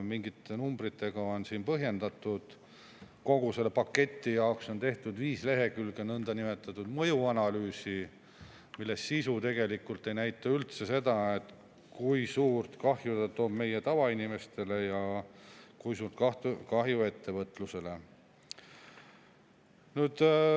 Mingite numbritega on põhjendatud kogu seda paketti, on tehtud viis lehekülge nõndanimetatud mõjuanalüüsi, mille sisu tegelikult ei näita üldse seda, kui suurt kahju ta toob meie tavainimestele ja kui suurt kahju ettevõtlusele.